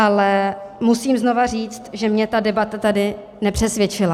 Ale musím znovu říct, že mě ta debata tady nepřesvědčila.